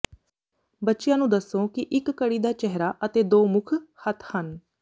ਬੱਚਿਆਂ ਨੂੰ ਦੱਸੋ ਕਿ ਇਕ ਘੜੀ ਦਾ ਚਿਹਰਾ ਅਤੇ ਦੋ ਮੁੱਖ ਹੱਥ ਹਨ